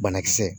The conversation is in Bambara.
Banakisɛ